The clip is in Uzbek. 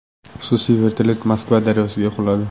Xususiy vertolyot Moskva daryosiga quladi.